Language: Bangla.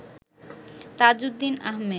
তাজউদ্দিন আহমেদ